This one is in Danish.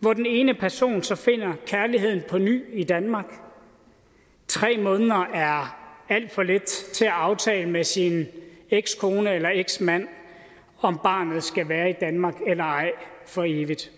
hvor den ene person så finder kærligheden på ny i danmark og tre måneder er alt for lidt til at aftale med sin ekskone eller eksmand om barnet skal være i danmark eller ej for evigt